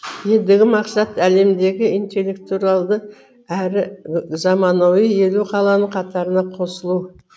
ендігі мақсат әлемдегі интеллектуралды әрі заманауи елу қаланың қатарына қосылу